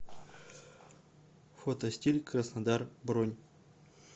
фотостиль краснодар бронь